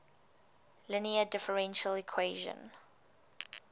linear differential equation